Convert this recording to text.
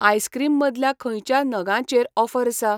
Ice cream मदल्या खंयच्या नगांचेरऑफर आसा?